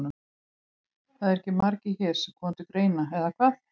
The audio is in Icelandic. Það eru ekki margir hér sem koma til greina, eða hvað?